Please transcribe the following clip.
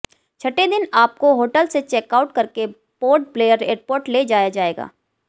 छठे दिन आपको होटल से चेकआउट करके पोर्ट ब्लेयर एयरपोर्ट ले जाया जाएगा